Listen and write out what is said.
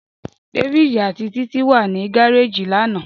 David ati Titi wa ni gareji lana.